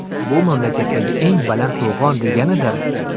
Bu mamlakatdagi eng baland to‘g‘on, deganidir.